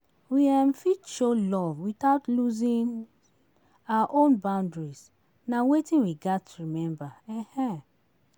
We um fit show love without losing our own boundaries; na wetin we gats remember. um